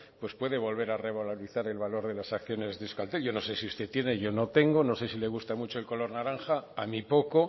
pues puede volver a revalorizar el valor de las acciones de euskaltel yo no sé si usted tiene yo no tengo no sé si le gusta mucho el color naranja a mí poco